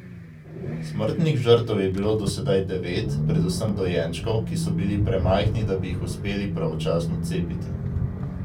Smrtnih žrtev je bilo do sedaj devet, predvsem dojenčkov, ki so bili premajhni, da bi jih uspeli pravočasno cepiti.